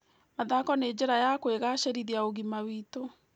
Mathako nĩ njĩra ya kũgacĩrithiaũgima witũ.